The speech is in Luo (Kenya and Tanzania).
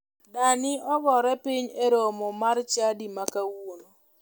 Dani ogore piny e romo mar chadi ma kawuono.